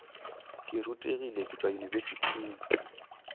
ke rutegile ke tšwa yunibesithing